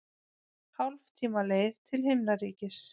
Hálftíma leið til himnaríkis.